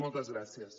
moltes gràcies